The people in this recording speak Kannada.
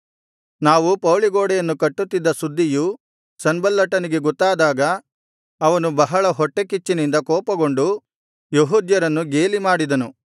ನಾವು ಪೌಳಿಗೋಡೆಯನ್ನು ಕಟ್ಟುತ್ತಿದ್ದ ಸುದ್ದಿಯು ಸನ್ಬಲ್ಲಟನಿಗೆ ಗೊತ್ತಾದಾಗ ಅವನು ಬಹಳ ಹೊಟ್ಟೆಕಿಚ್ಚಿನಿಂದ ಕೋಪಗೊಂಡು ಯೆಹೂದ್ಯರನ್ನು ಗೇಲಿ ಮಾಡಿದನು